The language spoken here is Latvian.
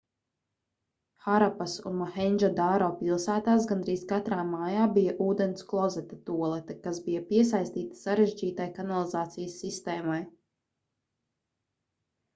harapas un mohendžodaro pilsētās gandrīz katrā mājā bija ūdensklozeta tualete kas bija piesaistīta sarežģītai kanalizācijas sistēmai